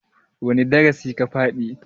wane darai ka faɗi?